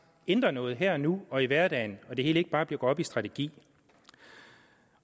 ændrer noget her og nu og i hverdagen så det hele ikke bare går op strategi